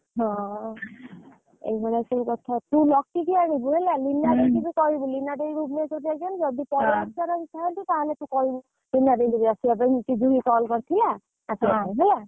ହଁ ଏଇ ଭଳିଆ ସବୁ କଥା ତୁ ଲକି କୁ ଆଣିବୁ ହେଲା ଲିନ ଦେଇକୁ ବି କହିବୁ ଲିନା ଦେଇ ଭୁବନେଶ୍ୱର ରେ ଅଛନ୍ତି ତାହେଲେ ତୁ କହିବୁ ଲିନା ଦେଇ ଆସିବା ପାଇଁ call କରିଥିଲା ଆସିବ ହେଲା।